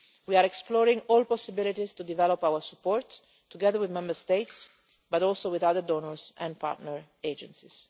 We are exploring all possibilities to develop our support, together with Member States and also with other donors and partner agencies.